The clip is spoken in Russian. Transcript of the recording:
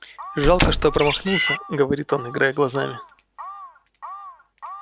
жалко что промахнулся говорит он играя глазами